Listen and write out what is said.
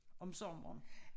Om sommeren